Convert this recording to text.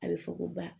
A bɛ fɔ ko ba